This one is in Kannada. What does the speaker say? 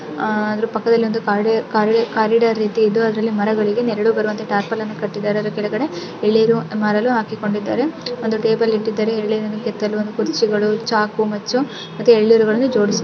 ಆದರೂ ಪಕ್ಕದಲ್ಲಿ ಕೆರ್ರಿಡಾರ್ಅ ದರ ಪಕ್ಕದಲ್ಲಿ ಮರಗಳು ಮರಗಳಿಗೆ ನೆರಳು ಬರುವಂತೆ ಟಾರ್ಪಲ್ ಅನ್ನು ಕಟ್ಟಿದ್ದಾರೆ ನೆರಳು ಬರುವಂತೆ ಅದರ ಕೆಳಗಡೆ ಎರಡು ನೀರನ್ನು ಹಾಕಿಕೊಂಡಿದ್ದಾರೆ ಒಂದು ಟೇಬಲ್ ಅನ್ನು ಇಟ್ಟಿದ್ದಾರೆ ಅಲ್ಲಿ ಕುರ್ಚಿಯನ್ನು ಇಟ್ಟಿದ್ದಾರೆ. ಮತ್ತು ಎಳನೀರನ್ನು ಕತ್ತರಿಸಲು ಚಾಕು ಮಚ್ಚು--